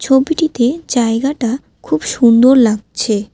ছবিটিতে জায়গাটা খুব সুন্দর লাগছে।